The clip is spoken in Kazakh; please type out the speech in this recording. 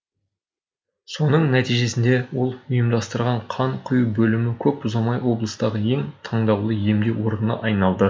соның нәтижесінде ол ұйымдастырған қан құю бөлімі көп ұзамай облыстағы ең таңдаулы емдеу орнына айналды